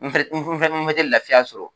N fɛnɛ n fɛnɛ tɛ lafiya sɔrɔ